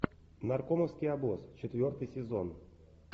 наркомовский обоз четвертый сезон